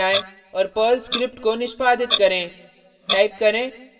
अब टर्मिनल पर जाएँ और पर्ल स्क्रिप्ट को निष्पादित करें